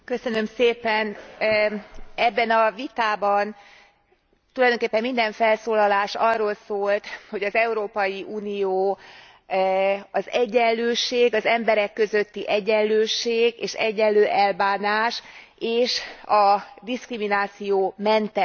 Ebben a vitában tulajdonképpen minden felszólalás arról szólt, hogy az Európai Unió az egyenlőség, emberek közötti egyenlőség és egyenlő elbánás és a diszkriminációmentesség elveire